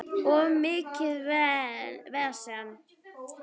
Of mikið vesen.